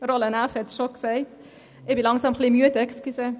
Roland Näf hat dies erwähnt.